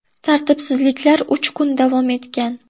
Tartibsizliklar uch kun davom etgan.